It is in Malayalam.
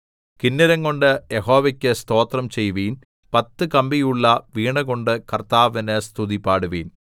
കിന്നരം കൊണ്ട് യഹോവയ്ക്ക് സ്തോത്രം ചെയ്യുവിൻ പത്തു കമ്പിയുള്ള വീണകൊണ്ട് കർത്താവിന് സ്തുതിപാടുവിൻ